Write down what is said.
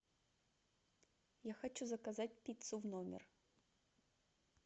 я хочу заказать пиццу в номер